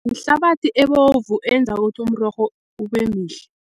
Yihlabathi ebovu eyenza ukuthi urorho ube mihle.